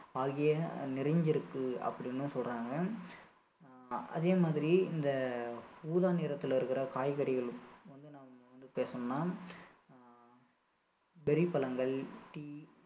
ஆகிய நிறைஞ்சி இருக்கு அப்படின்னு சொல்றாங்க ஆஹ் அதே மாதிரி இந்த ஊதா நிறத்தில இருக்கிற காய்கறிகளும் வந்து நம்ம வந்து பேசணும்னா ஆஹ் பெரி பழங்கள், டீ